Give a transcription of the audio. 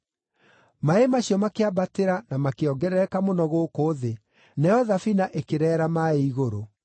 Maaĩ macio makĩambatĩra na makĩongerereka mũno gũkũ thĩ, nayo thabina ĩkĩreera maaĩ igũrũ.